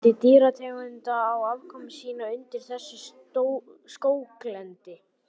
Mikill fjöldi dýrategunda á afkomu sína undir þessu skóglendi.